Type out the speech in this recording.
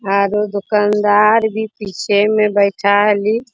Are उ दुकानदार भी पीछे में बैठा हली।